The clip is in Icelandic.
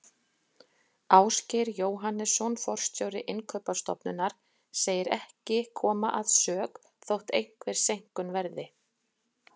Ásgeir Jóhannesson forstjóri Innkaupastofnunar segir ekki koma að sök þótt einhver seinkun verði.